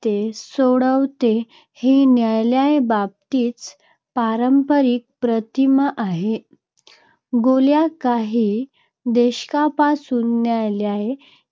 न्यायालयीन सक्रियता - न्यायालयाकडे तंटे गेल्यास न्यायालय ते सोडवते, ही न्यायालयाबाबतची पारंपरिक प्रतिमा आहे. गेल्या काही दशकांपासून न्यायालयाच्या